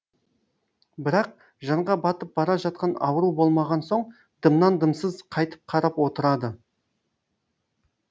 бірақ жанға батып бара жатқан ауру болмаған соң дымнан дымсыз қайтіп қарап отырады